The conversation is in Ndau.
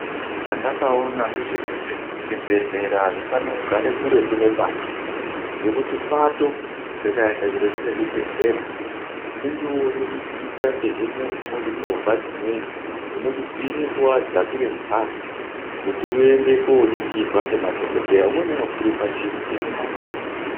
Chandakaona ngechokuti zvibhedhlera hazvifane kugare kuretu nepato ngokuti pato rikaenda kuretu kwezvibhedhlera unenge wide zvee kuti utsvake movha dzimweni dzinokubvirepo wadzakire mubhazi kuti uyende koningirwa nemadokoteya umweni unofira panjiya imunai.